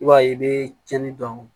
I b'a ye i bɛ cɛnin dɔn